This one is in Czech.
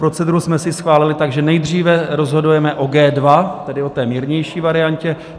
Proceduru jsme si schválili, takže nejdříve rozhodujeme o G2, tedy o té mírnější variantě.